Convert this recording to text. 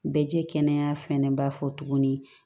Bɛ jɛɛ kɛnɛya fɛnɛ b'a fɔ tuguni